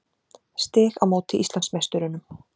Stig á móti Íslandsmeisturunum.